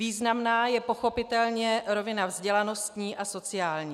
Významná je pochopitelně rovina vzdělanostní a sociální.